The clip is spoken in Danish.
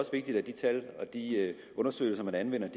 også vigtigt at de tal og de undersøgelser man anvender